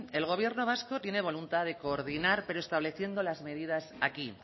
el gobierno vasco tiene voluntad de coordinar pero estableciendo las medidas aquí